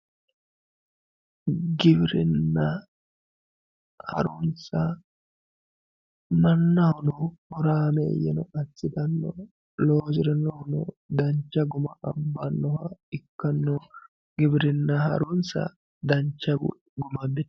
giwirina harunsa mannahono horaameeyye assitanno mannahono loosirinohunni dancha guma abbannoha ikkanna giwirinna harunsa dancha guam abbitanno.